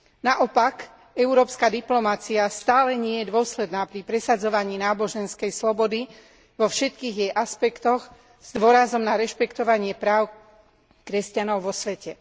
Naopak, európska diplomacia stále nie je dôsledná pri presadzovaní náboženskej slobody vo všetkých jej aspektoch s dôrazom na rešpektovanie práv kresťanov vo svete.